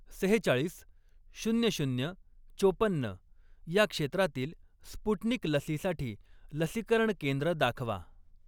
सेहेचाळीस, शून्य शून्य, चोपन्न या क्षेत्रातील स्पुटनिक लसीसाठी लसीकरण केंद्र दाखवा.